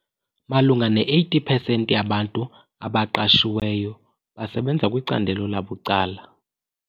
Malunga ne-80 pesenti yabantu abaqashiweyo basebenza kwicandelo labucala.